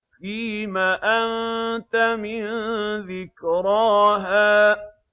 فِيمَ أَنتَ مِن ذِكْرَاهَا